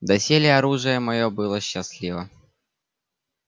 доселе оружие моё было счастливо